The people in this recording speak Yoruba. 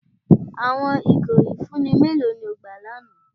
Awọn igó ifunni mẹlò ni o gbà lána?